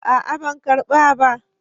A'a ban karɓa ba.